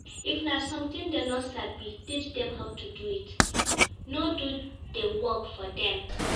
If na something dem no sabi teach dem how to do it no do di work for dem